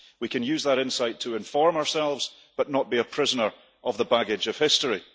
We can use that insight to inform ourselves, but not be a prisoner of the baggage of history.